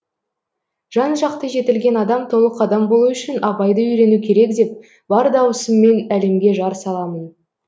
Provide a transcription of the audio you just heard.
жан жақты жетілген адам толық адам болу үшін абайды үйрену керек деп бар даусыммен әлемге жар саламын